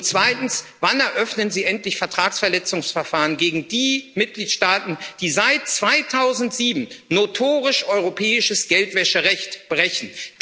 Und zweitens Wann eröffnen Sie endlich Vertragsverletzungsverfahren gegen die Mitgliedstaaten, die seit 2007 notorisch europäisches Geldwäscherecht brechen?